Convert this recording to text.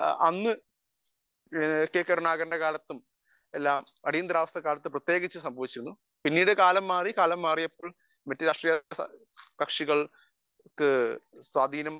speaker 1 അന്ന് K കരുണാകരന്റെ കാലത്തും അടിയന്തരാവസ്ഥ കാലത്തു പ്രത്യേകിച്ചും സംഭവിച്ചിരുന്നു പിന്നീട് കാലം മാറി കാലം മാറിയപ്പോൾ മറ്റു രാഷ്ട്രീയ കക്ഷികൾക്ക് സ്വാധീനം